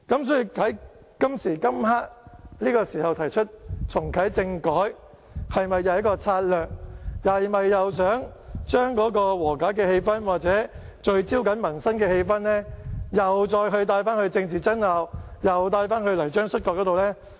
所以，在這個時候提出重啟政改，是否一項策略，是否想將和解氣氛或聚焦民生的氣氛再帶到政治爭拗，又帶到泥漿摔角呢？